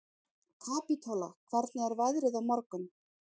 Kapítóla, hvernig er veðrið á morgun?